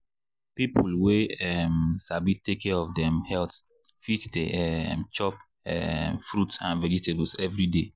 people wey um sabi take care of dem health fit dey um chop um fruit and vegetables every day.